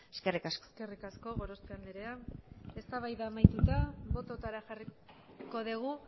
eskerrik asko eskerrik asko gorospe andrea eztabaida amaituta bototara jarriko dugu